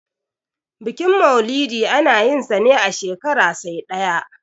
bikin maulidi ana yinsa ne a shekara sai ɗaya